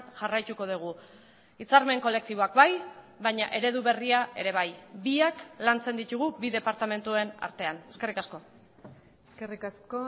jarraituko dugu hitzarmen kolektiboak bai baina eredu berria ere bai biak lantzen ditugu bi departamentuen artean eskerrik asko eskerrik asko